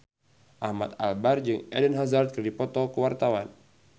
Ahmad Albar jeung Eden Hazard keur dipoto ku wartawan